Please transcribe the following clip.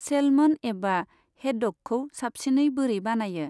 Salmon एबा हेडडगखौ साबसिनै बोरै बानायो?